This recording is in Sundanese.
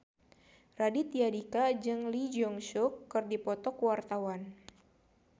Raditya Dika jeung Lee Jeong Suk keur dipoto ku wartawan